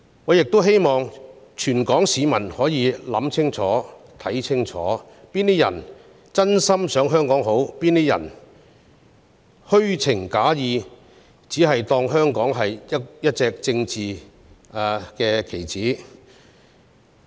我希望全港市民可以想清楚、看清楚，哪些人是真心想香港好、哪些人是虛情假意，只把香港當作一隻政治棋子而已。